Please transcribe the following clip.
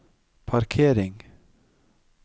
parkering